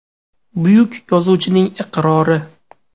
Buyuk yozuvchining iqrori.